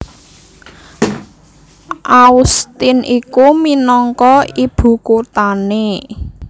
Austin iku minangka ibukuthané